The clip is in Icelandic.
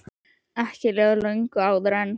Ekki leið á löngu áður en